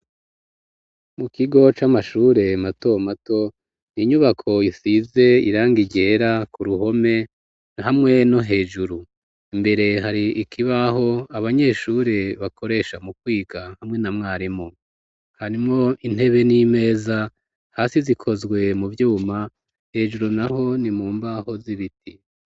Mu kigo c'amashure mato mato ninyubako isize irangi ryera ku ruhome hamwe no hejuru imbere hari ikibaho abanyeshure bakoresha mu kwiga hamwe na mwarimu harimo intebe n'imeza hasi zikozwe mu vyuma hejuru naho ni mumbaho z'ibiti.